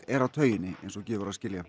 er á tauginni eins og gefur að skilja